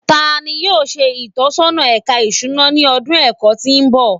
Tani yoo ṣe itọsọna Ẹka Isuna ni ọdun ẹkọ ti n bọ?